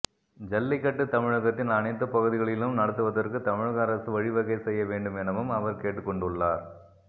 ஜல்லிக்கட்டு தமிழகத்தின் அனைத்து பகுதிகளிலும் நடத்துவதற்கு தமிழக அரசு வழிவகை செய்ய வேண்டும் எனவும் அவர் கேட்டுக்கொண்டுள்ளார்